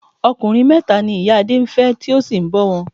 Ọkùnrin mẹ́ta ni ìyá Adé ń fẹ́ tó sì ń bọ wọn.